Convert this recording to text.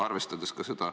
Arvestades ka seda ...